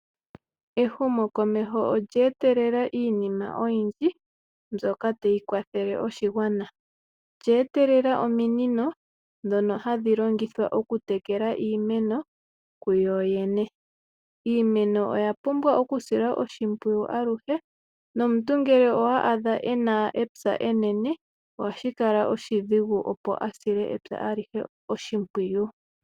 Ehumokomeho olye etelela iinima oyindji mbyoka tayi kwathele oshigwana, olye etelela ominino dhono hadhi longithwa oku tekela iimeno kuyoyene, iimeno oya pumbwa oku silwa oshimpwiyu aluhe nomuntu ngele owa adha ena epya enene ohashi kala oshidhigu opo asile epya alihe oshimpwiyu